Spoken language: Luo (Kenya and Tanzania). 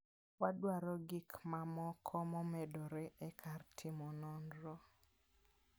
Wadwaro gik mamoko momedore e kar timo nonro.